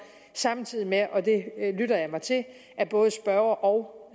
samtidig med at og det lytter jeg mig til både spørger og